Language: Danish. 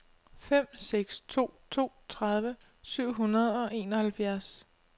fem seks to to tredive syv hundrede og enoghalvfjerds